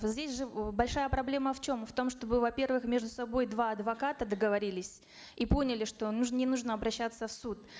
здесь же э большая проблема в чем в том чтобы во первых между собой два адвоката договорились и поняли что не нужно обращаться в суд